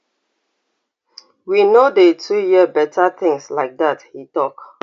we no dey too hear beta tins like dat e tok